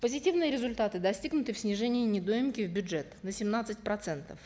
позитивные результаты достигнуты в снижении недоимки в бюджет на семнадцать процентов